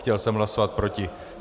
Chtěl jsem hlasovat proti.